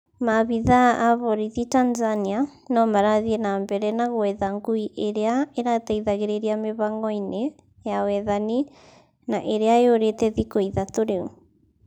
Maabitha a borithi Tanzania, nomarathie na mbere na gwetha ngui ĩrĩa ĩrateithagĩrĩria mĩhang'o-ini ya wethani, na ĩrĩa yurĩte thikũ ithatũ rĩu